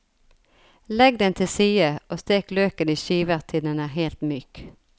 Legg den til side, og stek løken i skiver til den er helt myk.